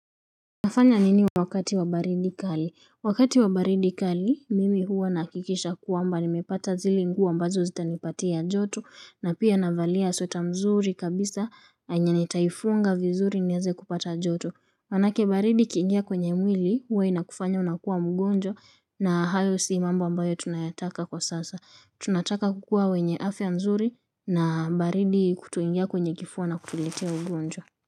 Nafanya nini wakati wa baridi kali? Wakati wabaridi kali mimi huwa nahakikisha kuwamba nimepata zile nguo ambazo zitanipatia joto na pia navalia sweta mzuri kabisa enya nitaifunga vizuri nieze kupata joto manake baridi ikiingia kwenye mwili huwa inakufanya unakua mgonjwa na hayo si mambo ambayo tunayotaka kwa sasa tunataka kukua wenye afya nzuri na baridi kutuingia kwenye kifuwa na kutulitea ugonjwa.